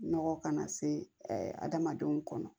Nɔgɔ kana se adamadenw kɔnɔ